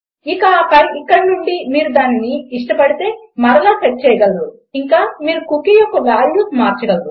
ఇక ఆపైన ఇక్కడ నుండి మీరు దానిని మీరు ఇష్టపడితే మరల సెట్ చేయగలరు ఇంకా మీరు కుకీ యొక్క వాల్యూస్ మార్చగలరు